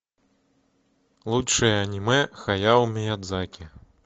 лучшие аниме хаяо миядзаки